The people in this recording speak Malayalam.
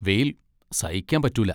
വെയിൽ സഹിക്കാൻ പറ്റൂല.